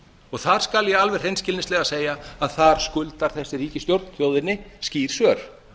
og þar skal ég alveg hreinskilnislega segja að þar skuldar þessi ríkisstjórn þjóðinni skýr svör